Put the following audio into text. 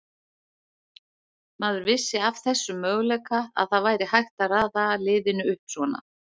Maður vissi af þessum möguleika, að það væri hægt að raða liðinu upp svona.